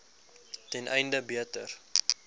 ten einde beter